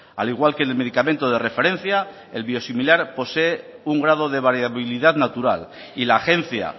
al igual que en el medicamento de referencia el biosimilar posee un grado de variabilidad natural y la agencia